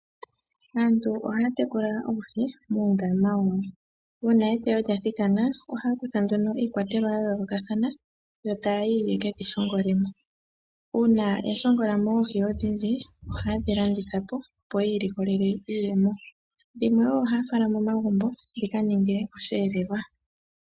Aantu ohaya tekula oohi muundama wawo, uuna eteyo lya thikana ohaya kutha nduno iikwatelwa ya yoolokathana yo taya yi ye kedhi shongole mo. Uuna ya shongola mo oohi odhindji ohaye dhi landitha po opo yi ilikolele iiyemo, dhimwe wo ohaya fala momagumbo dhi ka ninge osheelelwa.